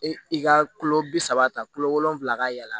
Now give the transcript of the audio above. E i ka kulo bi saba ta kulo wolonfila ka yɛlɛ